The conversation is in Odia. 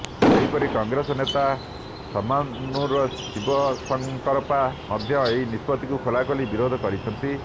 ସେହିପରି କଂଗ୍ରେସ ନେତା ଶାମାନୁର ଶିବଶଙ୍କରପ୍ପା ମଧ୍ୟ ଏହି ନିଷ୍ପତ୍ତିକୁ ଖୋଲାଖୋଲି ବିରୋଧ କରିଛନ୍ତି